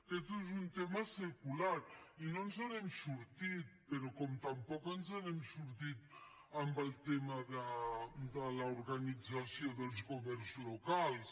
aquest és un tema secular i no ens n’hem sortit però com tampoc ens n’hem sortit amb el tema de l’organització dels governs locals